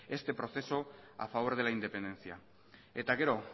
este proceso a favor de la independencia eta gero